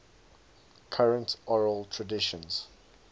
current oral traditions